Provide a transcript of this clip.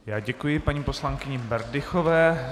Já děkuji paní poslankyni Berdychové.